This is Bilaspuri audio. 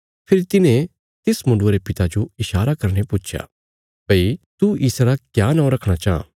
फेरी तिन्हे तिस मुण्डुये रे पिता जो ईशारा करीने पुच्छया भई तू इसरा क्या नौं रखणा चाँह